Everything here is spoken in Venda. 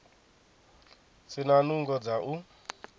si na nungo dza u